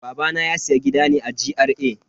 Babana ya siya gida ne a GRA.